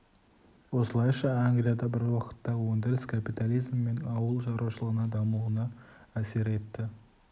осылайша англияда бір уақытта өндіріс капитализм мен ауыл шаруашылығының дамуына әсер етті